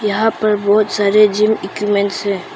यहां पर बहोत सारे जिम इक्विपमेंट्स है।